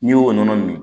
N'i y'o nɔnɔ min